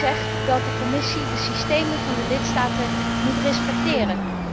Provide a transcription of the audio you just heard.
Je zegt dat de Commissie de systemen van de lidstaten moet respecteren.